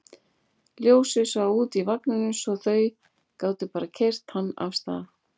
Ljósið svaf úti í vagninum svo þau gátu bara keyrt hann af stað.